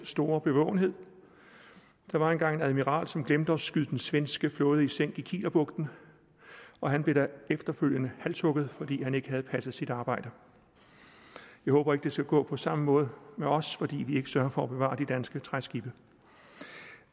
store bevågenhed der var engang en admiral som glemte at skyde den svenske flåde i sænk i kielerbugten og han blev efterfølgende halshugget fordi han ikke havde passet sit arbejde jeg håber ikke det skal gå på samme måde med os fordi vi ikke sørger for at bevare de danske træskibe